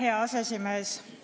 Hea aseesimees!